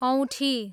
औँठी